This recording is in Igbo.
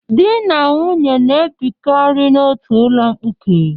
Di na nwunye na-ebikarị n'otu ụlọ mkpuke.